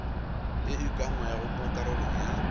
e ukangwego mo karolong ya